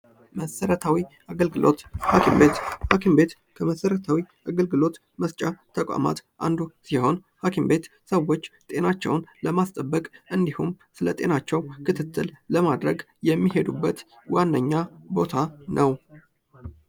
መሰረታዊ አገልግሎት፦ ሀኪም ቤት፦ ሀኪም ቤት መሰረታዊ አገልግሎት መስጫ ተቋማት አንዱ ሲሆን ሀኪም ቤት ሰዎች ጤናቸውን ለማስጠበቅ እንዲሁም ስለ ጤናቸው ክትትል ለማድረግ የሚሄዱበት ዋነኛ ቦታ ነው።